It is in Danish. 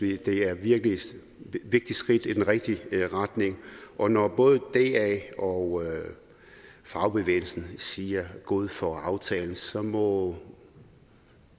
det er et vigtigt skridt i den rigtige retning og når både da og fagbevægelsen siger god for aftalen så må